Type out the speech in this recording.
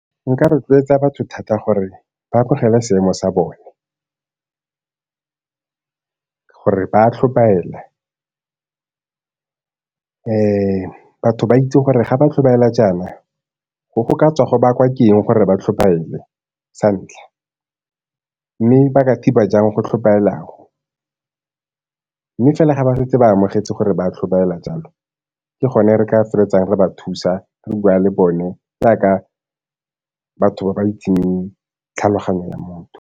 Nka rotloetsa batho thata gore ba bogele seemo sa bone, gore ba tlhobaela. Batho ba itse gore ga ba tlhobaela jaana go go ka tswa go ba kwa ke eng gore ba tlhobaele sa ntlha, mme ba ka thiba jang go tlhobaela go? Mme fela ga ba setse ba amogetse gore ba tlhobaela jalo, ke gone re ka fa feletsang re ba thusa re bua le bone jaaka batho ba ba itseng tlhaloganyo ya motho.